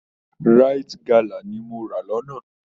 Rite galà ni mo rà lọ́nà